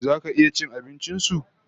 Zaka iya cin abincin su$